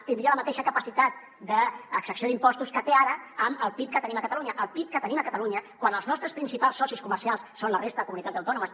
tindria la mateixa capacitat d’exacció d’impostos que té ara amb el pib que tenim a catalunya el pib que tenim a catalunya quan els nostres principals socis comercials són la resta de comunitats autònomes